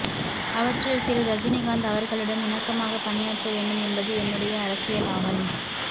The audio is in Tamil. அவற்றில் திரு ரஜினிகாந்த் அவர்களுடன் இணக்கமாகப் பணியாற்ற வேண்டும் என்பது என்னுடைய அரசியல் ஆவல்